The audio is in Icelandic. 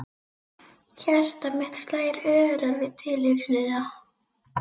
Hjarta mitt slær örar við tilhugsunina.